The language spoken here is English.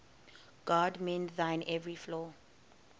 god mend thine every flaw